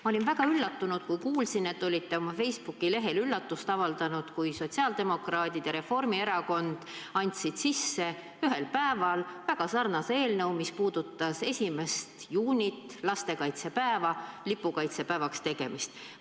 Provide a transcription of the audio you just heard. Ma olin väga üllatunud, kui kuulsin, et olite oma Facebooki lehel üllatust avaldanud, kui sotsiaaldemokraadid ja Reformierakond andsid ühel päeval sisse väga sarnase eelnõu, mis puudutas 1. juuni, lastekaitsepäeva lipupäevaks tegemist.